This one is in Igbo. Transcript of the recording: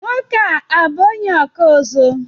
Nwoke a ọ bú onye ọkụ azụ?